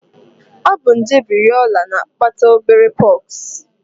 Ọ bụ nje variọla na-akpata obere pox